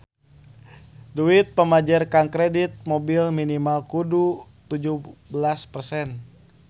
Duit pamanjer jang kredit mobil minimal kudu tujuh belas persen